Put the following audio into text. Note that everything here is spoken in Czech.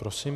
Prosím.